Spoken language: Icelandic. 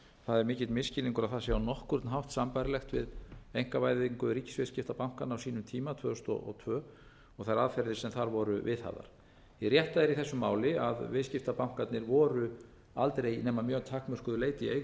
það er mikill misskilningur að það sé á nokkurn hátt sambærilegt við einkavæðingu ríkisviðskiptabankanna á sínum tíma tvö þúsund og tvö og þær aðferðir sem þar voru viðhafðar hið rétta í þessu máli er að viðskiptabankarnir voru aldrei nema að mjög takmörkuðu leyti í eigu